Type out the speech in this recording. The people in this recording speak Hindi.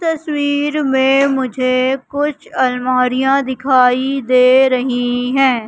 तस्वीर मे मुझे कुछ अलमारियां दिखाई दे रही है।